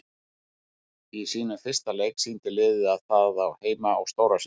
Í sínum fyrsta leik sýndi liðið að það á heima á stóra sviðinu.